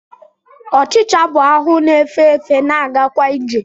Ọchịcha bụ ahụ na-efe efe, na-agakwa ije